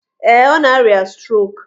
Ee, ọ na-arịa strok.